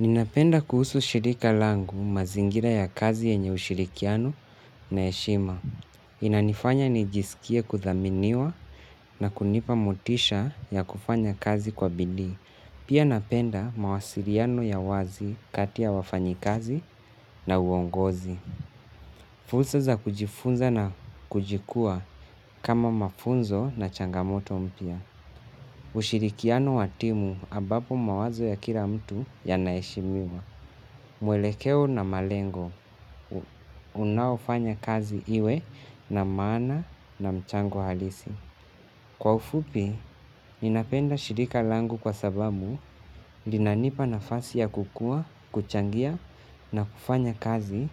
Ninapenda kuhusu shirika langu mazingira ya kazi yenye ushirikiano na heshima. Inanifanya nijisikie kuthaminiwa na kunipa motisha ya kufanya kazi kwa bidii. Pia napenda mawasiliano ya wazi kati ya wafanyi kazi na uongozi. Fursa za kujifunza na kuchukuwa kama mafunzo na changamoto mpya. Ushirikiano wa timu ambapo mawazo ya kila mtu yana heshimiwa. Mwelekeo na malengo. Unaofanya kazi iwe na maana na mchango halisi. Kwa ufupi, ninapenda shirika langu kwa sababu, linanipa nafasi ya kukua, kuchangia na kufanya kazi